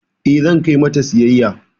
Eh zan kai mata ta siyayya.